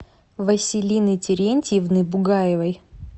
василины терентьевны бугаевой